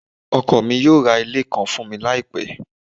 ọkọ mi yóò ra ile kan fun mi laipe